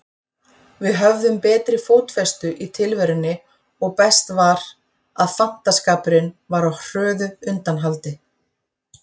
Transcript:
Við höfðum betri fótfestu í tilverunni og best var, að fantaskapurinn var á hröðu undanhaldi.